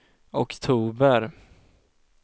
oktober